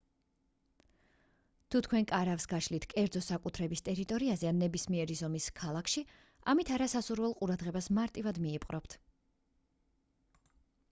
თუ თქვენ კარავს გაშლით კერძო საკუთრების ტერიტორიაზე ან ნებისმიერი ზომის ქალაქში ამით არასასურველ ყურადღებას მარტივად მიიპყრობთ